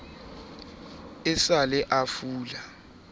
e sa le a fula